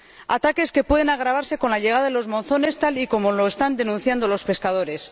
ataques que pueden agravarse con la llegada de los monzones, tal y como lo están denunciando los pescadores.